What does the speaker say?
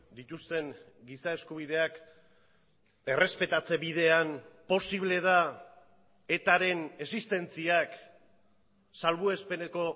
dituzten giza eskubideak errespetatze bidean posible da etaren existentziak salbuespeneko